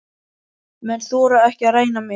Menn þora ekki að ræna mig.